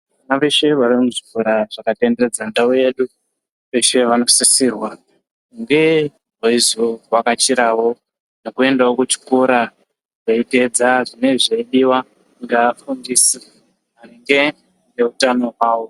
Vana veshe vari muzvikora zvakatenderedza ndau yedu. Veshe vanosisirwa kunge veyizovhakachirawo nekuendawo kuchikora veyiteedza zvine zveidiwa ngeafundisi maringe neutano hwawo.